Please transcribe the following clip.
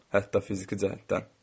Hətta fiziki cəhətdən.